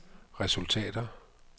resultater